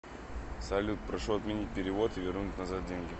салют прошу отменить перевод и вернуть назад деньги